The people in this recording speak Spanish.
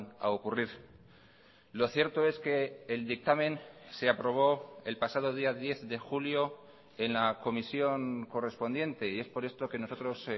a ocurrir lo cierto es que el dictamen se aprobó el pasado día diez de julio en la comisión correspondiente y es por esto que nosotros